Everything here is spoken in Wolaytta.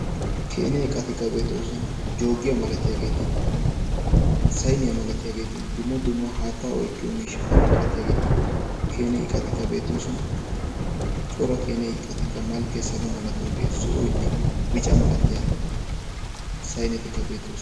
keene qatikka beetoosuna joogiyaa malatiyaageeti sayniyaa malatiyaageeti dumma dumma haatta oyqqiyo miishshata malatiyaageeti keeneyqatikka beetoosuna cora keene lastiqatikka malkkee salo malatiyoogee zo'oinne bica malatiyaa saynetikka beettoosona